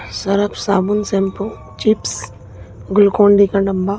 Surf साबून shampoo chips Glucon D का डब्बा।